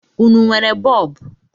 Ụnụ nwere bọọbụ?